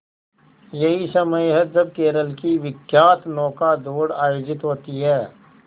यही समय है जब केरल की विख्यात नौका दौड़ आयोजित होती है